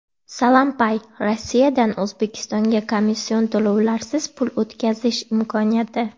SalamPay – Rossiyadan O‘zbekistonga komission to‘lovlarsiz pul o‘tkazish imkoniyati.